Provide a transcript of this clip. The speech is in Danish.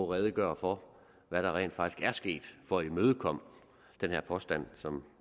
redegøre for hvad der rent faktisk er sket for at imødekomme den her påstand som